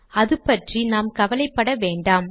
அது பற்றி நாம் கவலைப்பட வேண்டாம்